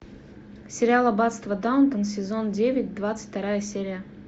сериал аббатство даунтон сезон девять двадцать вторая серия